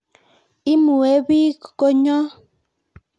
Imuebik konyon